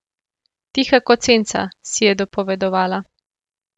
Tiha kot senca, si je dopovedovala.